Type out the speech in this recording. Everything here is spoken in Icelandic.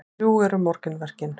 Drjúg eru morgunverkin.